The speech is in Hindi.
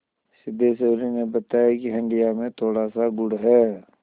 सिद्धेश्वरी ने बताया कि हंडिया में थोड़ासा गुड़ है